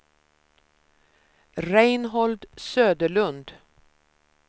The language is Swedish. Reinhold Söderlund